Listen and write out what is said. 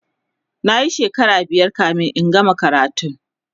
nayi shekara biyar kamin in gama karatun